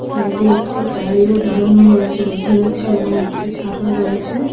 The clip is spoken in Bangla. সাইডে একটি গাড়িও দাঁড়ানো রয়েছে বোঝা যাচ্ছে এবং একটি ছাতা রয়েছে।